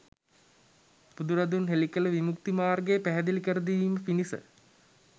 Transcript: බුදුරදුන් හෙළි කළ විමුක්ති මාර්ගය පැහැදිලි කරදීම පිණිස